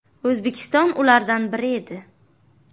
O‘zbekiston ulardan biri edi.